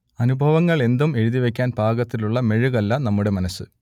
അനുഭവങ്ങൾക്ക് എന്തും എഴുതിവക്കാൻ പാകത്തിലുള്ള മെഴുകല്ല നമ്മുടെ മനസ്സ്